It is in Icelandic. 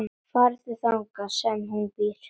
Farðu þangað sem hún býr.